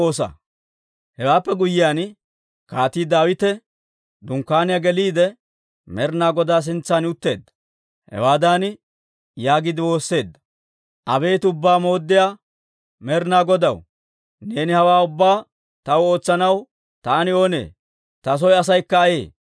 Hewaappe guyyiyaan, Kaatii Daawite dunkkaaniyaa geliide, Med'inaa Godaa sintsan utteedda. Hawaadan yaagiide woosseedda; «Abeet Ubbaa Mooddiyaa Med'inaa Godaw, neeni hawaa ubbaa taw ootsanaw taani oonee? Ta soo asaykka ayee?